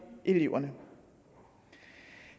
eleverne